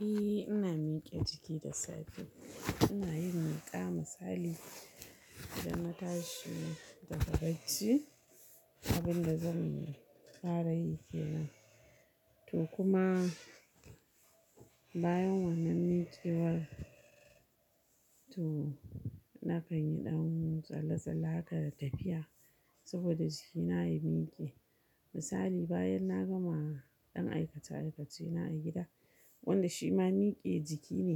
Eh ina mike jiki da safe, ina yin miƙa misali idan na tashi daga bacci abin da zan fara yi kenan. To kuma bayan wannan mikewar to nakan yi ɗan tsalle-tsalle haka da tafiya saboda jikina ya mike. Misali bayan na gama ɗan aikace-aikacena a gida, wanda shi ma mike jiki ne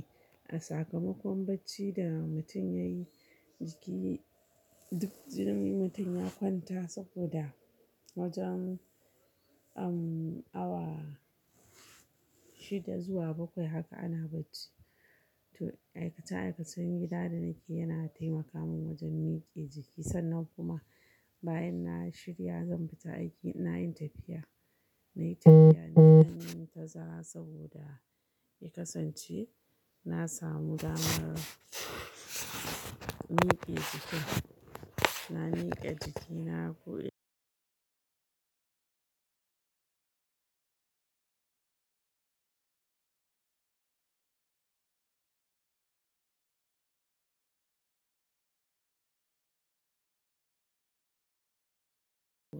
a sakamakon bacci da mutum yayi jiki duk jinin mutum ya kwanta saboda wajen umm awa shida zuwa bakwai haka ana bacci. To aikace-aikacen gida da nake yana taimaka min wajen mike jiki sannan kuma bayan na shirya zan fita aiki ina yin tafiya. Na yi tafiya na mintina saboda ya kasance na samu damar mike jiki. Na mike jikina ko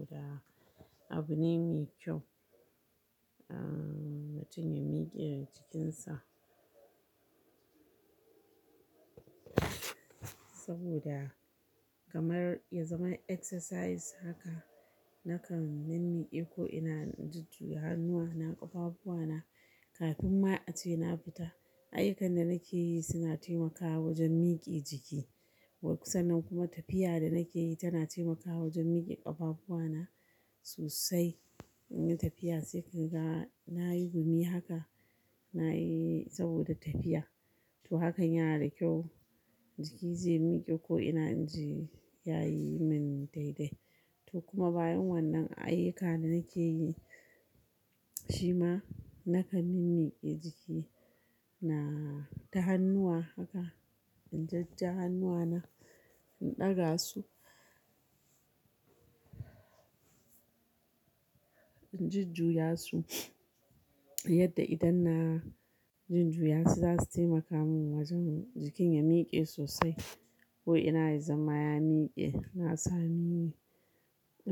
da, abune mai kyau. Umm mutum ya mike jikinsa saboda kamar ya zama exercise haka nakan mimmiƙe ko ina in jujjuyi hannuwa, na ƙarfafuwa na kafin ma ace na fita. Ayukan da nake yi suna taimakawa wajen mike jiki. Sannan kuma tafiya da nake yi tana taimakawa wajen mike ƙafafuwana sosai. Ina tafiya sai kaga na yi gumi haka na yi saboda tafiya. To hakan yana da kyau, jiki zai mike ko ina inji yayi min daidai. To kuma bayan wannan ayyuka da nake yi, shi ma nakan mimmike jiki na ta hannuwa haka in jajja hannuwana, in ɗaga su, inji juya su yadda idan na jinjuya su za su taimaka min wajen jikin ya mike sosai ko ina ya zama ya mike. Na sami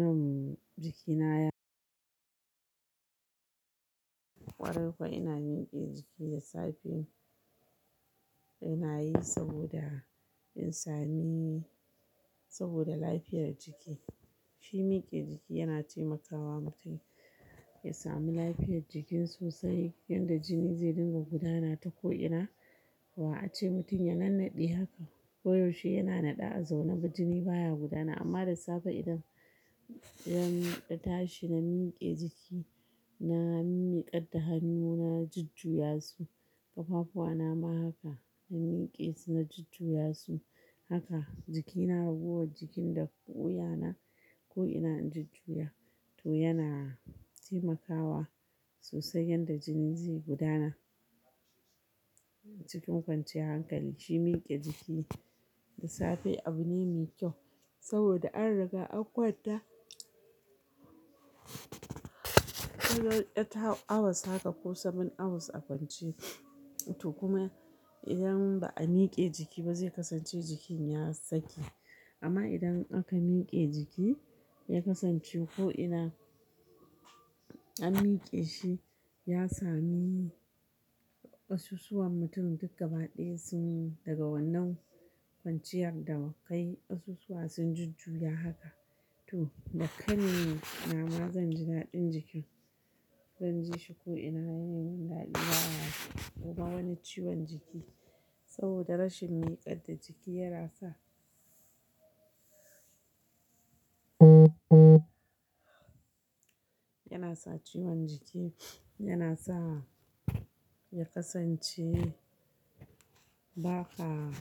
umm jikinaya ƙwarai kuwa ina mike jiki da safe ina yi saboda in sami saboda lafiyar jiki. Shi mike jiki yana taimakawa mutum ya sami lafiyar jikin sosai yanda jini zai dinga gudana ta ko'ina. Ba a ce mutum ya nannade haka ko yaushe yana naɗa a zaune ba jini baya gudana amma da safe idan idan tashi na mike jiki, na miƙar da hannuwana, jujjuya su ƙafafuwana ma haka na mike su na jujjuya su haka jikina raguwar jikin da ƙu'uyana ko ina inji juya to yana taimakawa sosai yanda jini zai gudana cikin kwanciyar hankali. Shi mike jiki da safe abu ne mai kyau saboda an riga an kwanta awar tara, awa saba'in ko saba'in awa a kwance. To kuma idan ba a mike jiki ba zai kasance jikin ya saki. Amma idan aka mike jiki ya kasance ko ina an mike shi ya sami ƙasusuwan mutumi duk gaba ɗaya sun daga wannan kwanciyar davkai ƙasusuwa sun jujjuya haka. To da kai ni na ma zan ji daɗin jikin, zan ji shi ko ina yana yin mun daɗi baya wuce kuma wani ciwon jiki saboda rashin miƙar da jiki yana sa yana sa ciwon jiki, yana sa ya kasance ba ka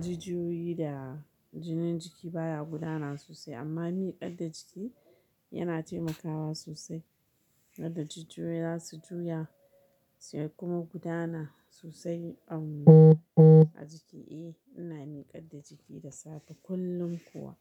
jijiyoyi da jinin jiki baya gudana sosai amma miƙar da jiki yana taimakawa sosai yadda jijiyoyi za su juya su kuma gudana sosai a jiki. Eh ina miƙar da jiki da safe kullum kuwa.